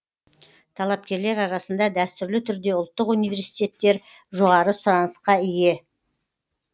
талапкерлер арасында дәстүрлі түрде ұлттық университеттер жоғары сұранысқа ие